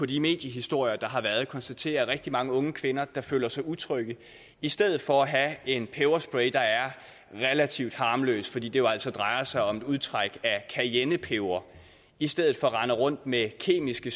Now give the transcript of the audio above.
de mediehistorier der har været konstatere at rigtig mange unge kvinder der føler sig utrygge i stedet for at have en peberspray der er relativt harmløs fordi det jo altså drejer sig om et udtræk af cayennepeber i stedet for render rundt med kemiske